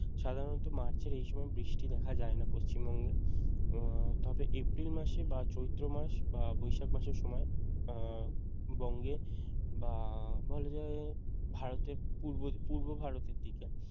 সাধারণত মার্চের এই সময় বৃষ্টি দেখা যায় না পশ্চিমবঙ্গে উম তবে এপ্রিল মাসে বা চৈত্র মাস বা বৈশাখ মাসের সময় উম বঙ্গে বা বলা যায় ভারতের পূর্ব~ পূর্ব ভারতের দিকে